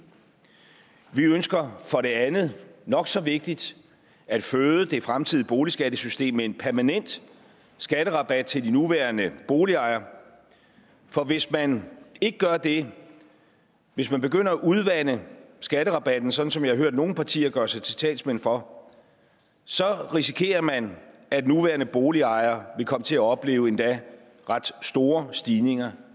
vi ønsker for det andet nok så vigtigt at føde det fremtidige boligskattesystem med en permanent skatterabat til de nuværende boligejere for hvis man ikke gør det hvis man begynder at udvande skatterabatten sådan som jeg har hørt nogle partier gøre sig til talsmænd for så risikerer man at nuværende boligejere vil komme til at opleve endda ret store stigninger